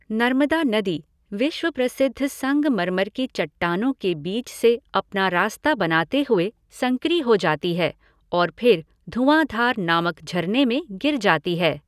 नर्मदा नदी, विश्व प्रसिद्ध संगमरमर की चट्टानों के बीच से अपना रास्ता बनाते हुए, संकरी हो जाती है और फिर धुआँधार नामक झरने में गिर जाती है।